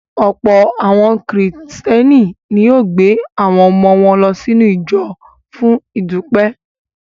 Ọ̀pọ̀ àwọn Kìrìtẹ́ẹ́nì ni yóò gbé àwọn ọmọ wọn lọ sínú ìjọ fún ìdúpẹ́.